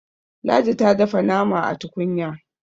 ladi ta dafa nama a tukunya